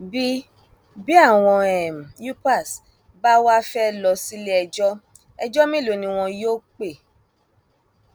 bí bí àwọn um upas bá wàá fẹẹ lọ síléẹjọ ẹjọ mélòó ni wọn yóò um pè